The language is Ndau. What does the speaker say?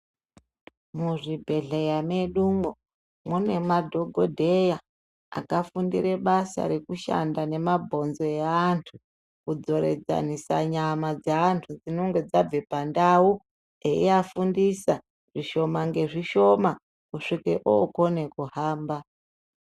Muzvibhedhleya mwedumwo mune madhokodheya akafundire basa rekushanda nemabhonzo eantu kudzoradzanise nyama dzeantu dzinonga dzabve pandau eiafundisa zvishoma ngesvishoma kusvika okone kuhamba.